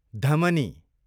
धमनी